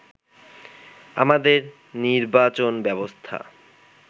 আমাদের নির্বাচনব্যবস্থা